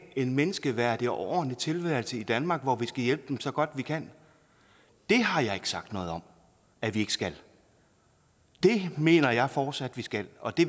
en menneskeværdig og ordentlig tilværelse i danmark hvor vi skal hjælpe dem så godt vi kan det har jeg ikke sagt noget om at vi ikke skal det mener jeg fortsat at vi skal og det